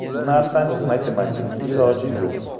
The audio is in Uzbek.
Bu narsaning matematik iloji yo‘q.